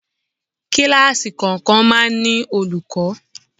Kíláàsì kọ̀ọ̀kan máa ń ní olùkọ́.